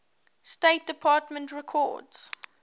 state department records